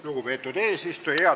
Lugupeetud eesistuja!